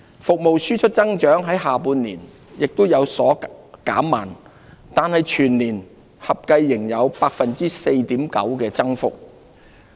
服務輸出增長在下半年亦有所減慢，但全年合計仍然有 4.9% 的增幅。